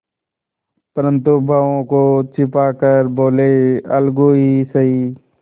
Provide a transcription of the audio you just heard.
परंतु भावों को छिपा कर बोलेअलगू ही सही